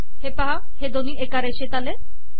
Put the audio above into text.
पहा दोन्ही एका रेषेत आले